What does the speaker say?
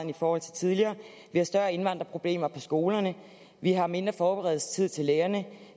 i forhold til tidligere vi har større indvandrerproblemer på skolerne vi har mindre forberedelsestid til lærerne